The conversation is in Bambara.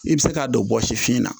I bɛ se k'a don bɔsi fiɲɛ na